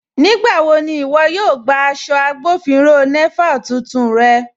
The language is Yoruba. Nígbàwọ̀ ni iwọ̀ yóò gbà aṣọ̀ Agbọ̀finrọ̀ Naval tuntun rẹ̀?